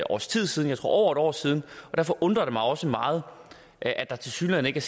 års tid siden jeg tror år siden og derfor undrer det mig også meget at der tilsyneladende ikke